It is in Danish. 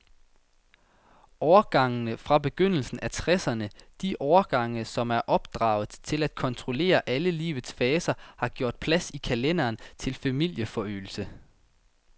Årgangene fra begyndelsen af tresserne, de årgange, som er opdraget til at kontrollere alle livets faser, har gjort plads i kalenderen til familieforøgelse.